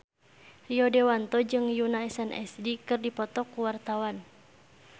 Rio Dewanto jeung Yoona SNSD keur dipoto ku wartawan